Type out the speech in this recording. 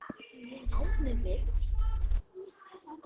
Árni Vill.